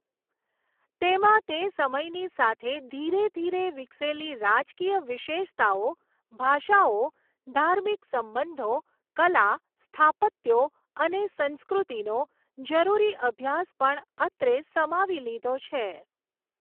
તેમાં તે સમયની સાથે ધીરે ધીરે વિકસેલી રાજકીય વિશેષતાઓ, ભાષાઓ, ધાર્મિક સંબંધો, કલા, સ્થાપત્યો, અને સંસ્કૃતિનો, જરૂરી અભ્યાસ પણ અત્રે સમાવી લીધો છે.